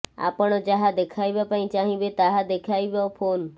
ଆପଣ ଯାହା ଦେଖାଇବା ପାଇଁ ଚାହିଁବେ ତାହା ଦେଖାଇବ ଫୋନ୍